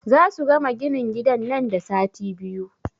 Zasu gama ginin gidan nan da sati biyu.